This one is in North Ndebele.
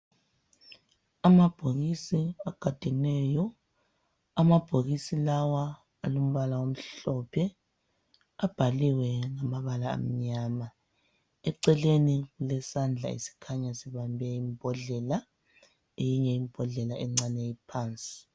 Amabhokisi agadeneyo, amabhokisi lawa alombala omhlophe abhaliwe ngamabala amnyama, eceleni kulesandla esikhanya sibambe imbhodlela eyinye imbhodlela encane iphansi.